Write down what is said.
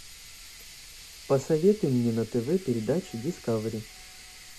посоветуй мне на тв передачу дискавери